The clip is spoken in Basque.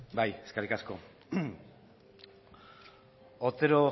bai eskerrik asko otero